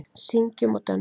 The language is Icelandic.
Syngjum og dönsum.